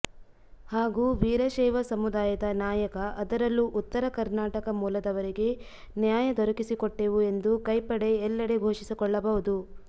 ಹಾಗೂ ವೀರಶೈವ ಸಮುದಾಯದ ನಾಯಕ ಅದರಲ್ಲೂ ಉತ್ತರ ಕರ್ನಾಟಕ ಮೂಲದವರಿಗೆ ನ್ಯಾಯ ದೊರಕಿಸಿಕೊಟ್ಟೆವು ಎಂದು ಕೈ ಪಡೆ ಎಲ್ಲೆಡೆ ಘೋಷಿಸಿಕೊಳ್ಳಬಹುದು